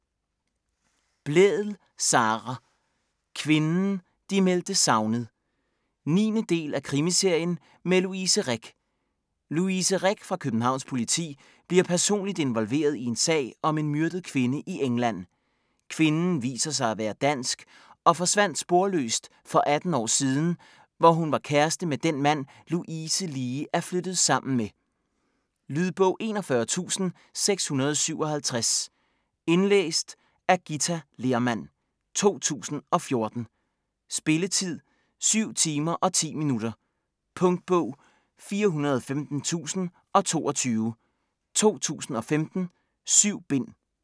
Blædel, Sara: Kvinden de meldte savnet 9. del af krimiserien med Louise Rick. Louise Rick fra Københavns Politi bliver personligt involveret i en sag om en myrdet kvinde i England. Kvinden viser sig at være dansk og forsvandt sporløst for 18 år siden, hvor hun var kæreste med den mand, Louise lige er flyttet sammen med. Lydbog 41657 Indlæst af Githa Lehrmann, 2014. Spilletid: 7 timer, 10 minutter. Punktbog 415022 2015. 7 bind.